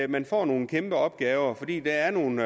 man får nogle kæmpe opgaver fordi der er nogle